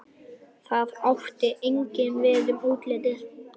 Það átti einnig við um útlitið.